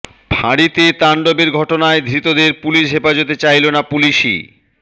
ফাঁড়িতে তাণ্ডবের ঘটনায় ধৃতদের পুলিস হেফাজতে চাইল না পুলিসই